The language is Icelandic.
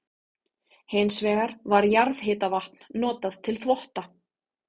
Hins vegar var jarðhitavatn notað til þvotta.